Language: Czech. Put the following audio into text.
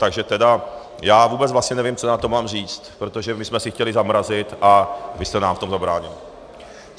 Takže teda já vůbec vlastně nevím, co na to mám říct, protože my jsme si chtěli zamrazit, a vy jste nám v tom zabránili.